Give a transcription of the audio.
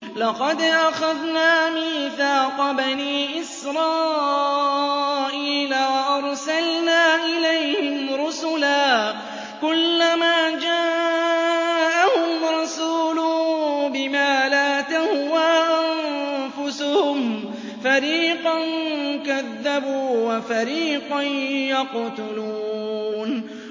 لَقَدْ أَخَذْنَا مِيثَاقَ بَنِي إِسْرَائِيلَ وَأَرْسَلْنَا إِلَيْهِمْ رُسُلًا ۖ كُلَّمَا جَاءَهُمْ رَسُولٌ بِمَا لَا تَهْوَىٰ أَنفُسُهُمْ فَرِيقًا كَذَّبُوا وَفَرِيقًا يَقْتُلُونَ